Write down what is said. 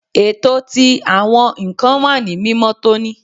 Eto ti awọn nkan wa ni mimotoni